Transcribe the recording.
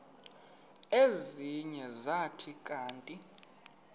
ezinye zathi kanti